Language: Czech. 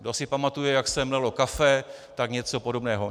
Kdo si pamatuje, jak se mlelo kafe, tak něco podobného.